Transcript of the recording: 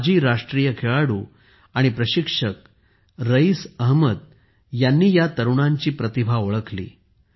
माजी राष्ट्रीय खेळाडू आणि प्रशिक्षक रईस अहमद यांनी या तरुणांची प्रतिभा ओळखली